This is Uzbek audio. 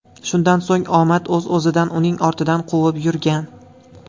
Shundan so‘ng omad o‘z-o‘zidan uning ortidan quvib yurgan.